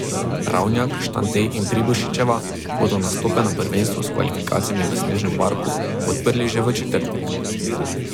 Ravnjak, Štante in Pribošičeva bodo nastope na prvenstvu s kvalifikacijami v snežnem parku odprli že v četrtek.